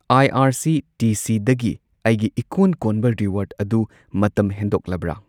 ꯑꯥꯏ R C T ꯁꯤꯗꯒꯤ ꯑꯩꯒꯤ ꯏꯀꯣꯟ ꯀꯣꯟꯕ ꯔꯤꯋꯥꯔꯗ ꯑꯗꯨ ꯃꯇꯝ ꯍꯦꯟꯗꯣꯛꯂꯕ꯭ꯔꯥ?